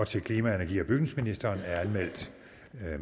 til klima energi og bygningsministeren er anmeldt